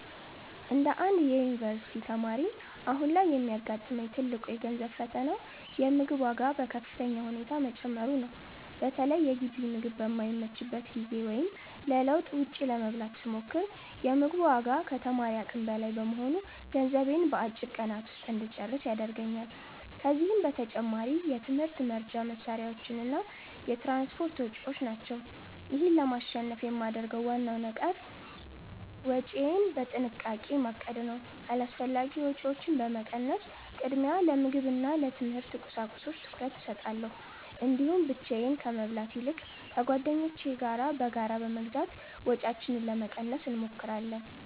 እንደ አንድ የዩኒቨርሲቲ ተማሪ፣ አሁን ላይ የሚያጋጥመኝ ትልቁ የገንዘብ ፈተና የምግብ ዋጋ በከፍተኛ ሁኔታ መጨመሩ ነው። በተለይ የግቢ ምግብ በማይመችበት ጊዜ ወይም ለለውጥ ውጭ ለመብላት ስሞክር፤ የ ምግቡ ዋጋ ከተማሪ አቅም በላይ በመሆኑ ገንዘቤን በአጭር ቀናት ውስጥ እንጨርስ ያደርገኛል። ከዚህም በተጨማሪ የትምህርት መርጃ መሣሪያዎችና የትራንስፖርት ወጪዎች ናቸው። ይህን ለማሸነፍ የማደርገው ዋናው ነገር ወጪዬን በጥንቃቄ ማቀድ ነው። አላስፈላጊ ወጪዎችን በመቀነስ፣ ቅድሚያ ለምግብና ለትምህርት ቁሳቁሶች ትኩረት እሰጣለሁ። እንዲሁም ብቻዬን ከመብላት ይልቅ ከጓደኞቼ ጋር በጋራ በመግዛት ወጪያችንን ለመቀነስ እንሞክራለን።